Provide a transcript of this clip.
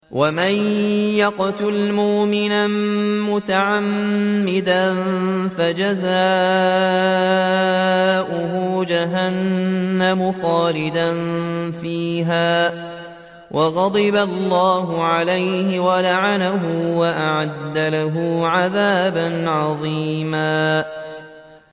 وَمَن يَقْتُلْ مُؤْمِنًا مُّتَعَمِّدًا فَجَزَاؤُهُ جَهَنَّمُ خَالِدًا فِيهَا وَغَضِبَ اللَّهُ عَلَيْهِ وَلَعَنَهُ وَأَعَدَّ لَهُ عَذَابًا عَظِيمًا